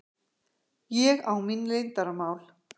Ég á mín leyndarmál.